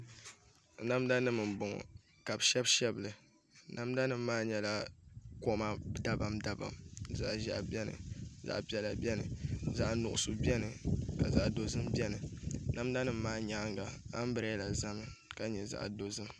Namda nim n bɔŋɔ ka bi shɛbi shɛbili namda nim maa nyɛla koma dabam dabam zaɣ ʒiɛhi biɛni zaɣ piɛla biɛni ka zaɣ nuɣso biɛni namda nim maa nyaanga anbirɛla ʒɛmi ka byɛ zaɣ dozim